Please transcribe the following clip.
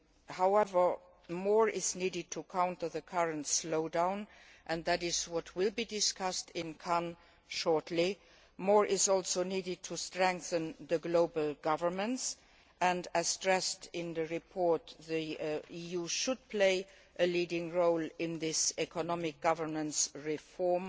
However, more is needed to counter the current slowdown and this will be discussed in Cannes shortly. More is also needed to strengthen global governance and, as stressed in the report, the EU should play a leading role in this economic governance reform.